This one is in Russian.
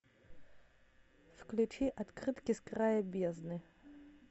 включи открытки с края бездны